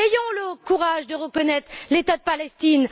Ayons le courage de reconnaître l'État de Palestine!